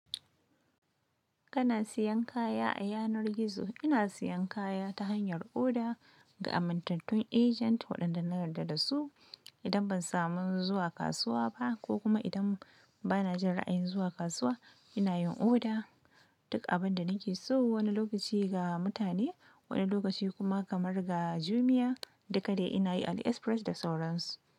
Kana siyan kaya a yanar gizo. Ina siyan kaya ta hanyar oda ga amintattun agent waɗanda na yarda da su. Idan ban samu zuwa kasuwa ba ko kuma idan bana jin ra'ayin zuwa kasuwa, ina yin oda. Duk abin da nake so wani lokaci ga mutane, wani lokaci kuma kamar ga Jumia, duka dai ina yi Ali Express da sauransu.